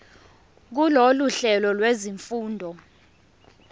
kulolu hlelo lwezifundo